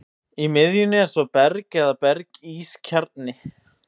Í miðjunni er svo berg eða berg-ís kjarni.